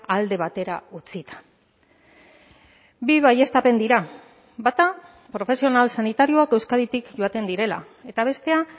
alde batera utzita bi baieztapen dira bata profesional sanitarioak euskaditik joaten direla eta bestea